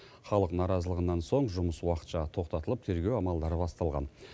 халық наразылығынан соң жұмыс уақытша тоқтатылып тергеу амалдары басталған